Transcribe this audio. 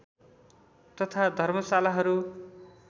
तथा धर्मशालाहरू